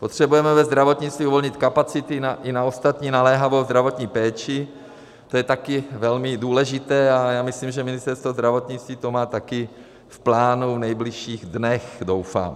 Potřebujeme ve zdravotnictví uvolnit kapacity i na ostatní naléhavou zdravotní péči, to je taky velmi důležité, a já myslím, že Ministerstvo zdravotnictví to má taky v plánu v nejbližších dnech, doufám.